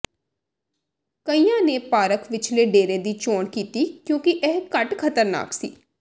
ਕਈਆਂ ਨੇ ਪਾਰਕ ਵਿਚਲੇ ਡੇਰੇ ਦੀ ਚੋਣ ਕੀਤੀ ਕਿਉਂਕਿ ਇਹ ਘੱਟ ਖ਼ਤਰਨਾਕ ਸੀ